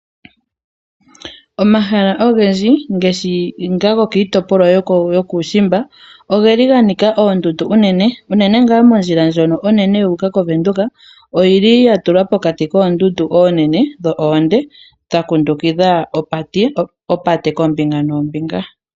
Omahala ogendji ngaashi nga go gokiitopolwa yuushiimba ogeli ga nika oondundu unene, unene ngaa mondjila ndjono onene yu uka koVenduka oyili ya tulwa pokati koondundu oonene dho oonde dha kundukidha opate kombinga noombinga.